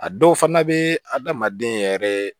A dɔw fana bɛ adamaden yɛrɛ